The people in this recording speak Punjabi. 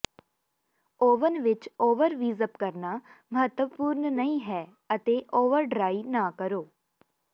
ਓਵਨ ਵਿੱਚ ਓਵਰਵੀਜਪ ਕਰਨਾ ਮਹੱਤਵਪੂਰਨ ਨਹੀਂ ਹੈ ਅਤੇ ਓਵਰਡ੍ਰੀ ਨਾ ਕਰੋ